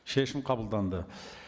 шешім қабылданды